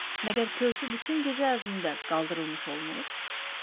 Məgər körpü bütün gecə ərzində qaldırılmış olmur?